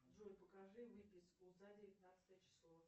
джой покажи выписку за девятнадцатое число